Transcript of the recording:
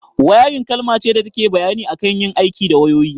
Wairin kalma ce da take bayani akan yin aiki da wayoyi